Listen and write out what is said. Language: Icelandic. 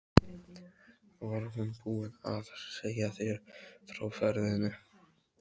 Var hún búin að segja þér frá ferðinni?